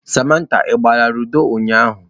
Samantha, ị gbara ludo ụnyahụ?